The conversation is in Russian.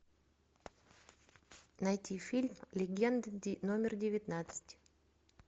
найти фильм легенда номер девятнадцать